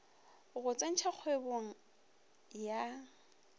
go go tsentšha kgwebong ya